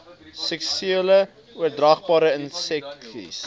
seksueel oordraagbare inseksies